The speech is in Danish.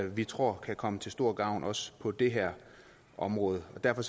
vi tror kan komme til stor gavn også på det her område og derfor